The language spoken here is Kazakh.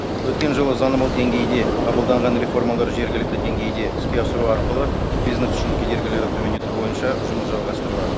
өткен жылы заңнамалық деңгейде қабылданған реформаларды жергілікті деңгейде іске асыру арқылы бизнес үшін кедергілерді төмендету бойынша жұмыс жалғастырылады